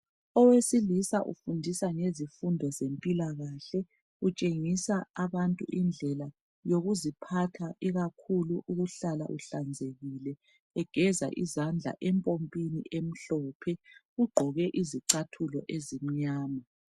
Owesilisa ufundisa ngezifundo zempilakahle, utshengisa abantu indlela yokuziphatha ikakhulu ukuhlala uhlanzekile egeza izandla empompini emhlophe. Ugqoke izicathulo ezimnyama.